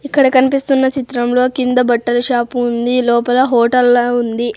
ఇక్కడ కన్పిస్తున్న చిత్రంలో కింద బట్టల షాపు ఉంది లోపల హోటల్లా ఉంది.